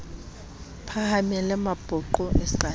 phahamele mapoqo e sa le